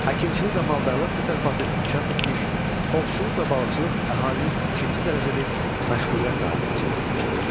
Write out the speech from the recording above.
Əkinçilik və maldarlıq təsərrüfatı inkişaf etmiş, ovçuluq və balıqçılıq əhalinin ikinci dərəcəli məşğuliyyət sahəsinə çevrilmişdi.